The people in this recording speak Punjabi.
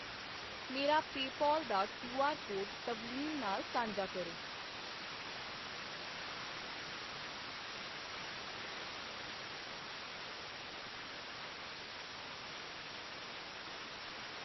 ਮੇਰਾ ਪੇਪਾਲ ਦਾ ਕਿਉਆਰ ਕੋਡ ਤਵਲੀਨ ਨਾਲ ਸਾਂਝਾ ਕਰੋ